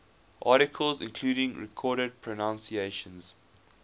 articles including recorded pronunciations